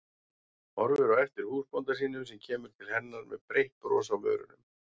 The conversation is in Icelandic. Horfir á eftir húsbónda sínum sem kemur til hennar með breitt bros á vörunum.